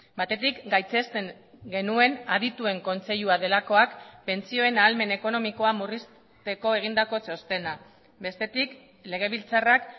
batetik gaitzesten genuen adituen kontseilua delakoak pentsioen ahalmen ekonomikoa murrizteko egindako txostena bestetik legebiltzarrak